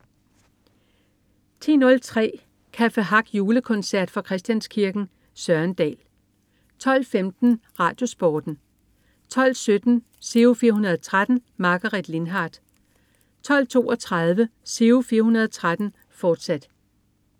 10.03 Café Hack Julekoncert. Fra Christianskirken. Søren Dahl 12.15 RadioSporten 12.17 Giro 413. Margaret Lindhardt 12.32 Giro 413, fortsat